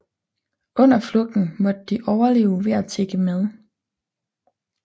Under flugten måtte de overleve ved at tigge mad